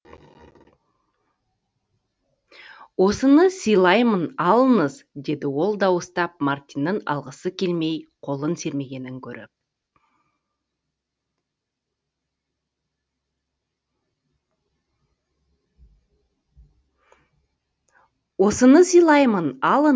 осыны сыйлаймын алыңыз деді ол дауыстап мартиннің алғысы келмей қолын сермегенін көріп